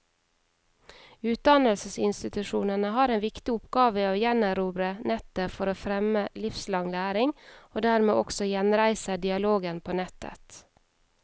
Utdannelsesinstitusjonene har en viktig oppgave i å gjenerobre nettet for å fremme livslang læring, og dermed også gjenreise dialogen på nettet.